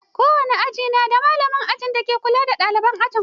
Kowane aji na da malamin aji dake kula da ɗaliban ajin.